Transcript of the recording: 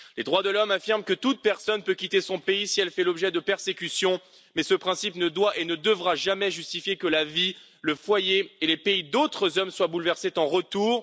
Les droits de l'homme affirment que toute personne peut quitter son pays si elle fait l'objet de persécutions, mais ce principe ne doit et ne devra jamais justifier que la vie, le foyer et les pays d'autres hommes soit bouleversés en retour.